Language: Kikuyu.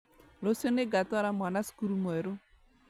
Rũciũ nĩngatwara mwana cukuru mwerũ